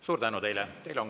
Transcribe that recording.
Suur tänu teile!